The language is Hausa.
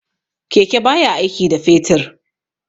Keke baya aiki da fetur.